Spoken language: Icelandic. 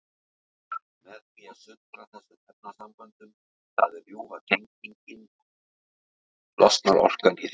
Með því að sundra þessum efnasamböndum, það er rjúfa tengin, losnar orkan í þeim.